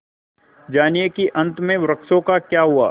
जानिए कि अंत में वृक्षों का क्या हुआ